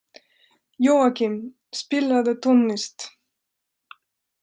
Jóakim, spilaðu tónlist.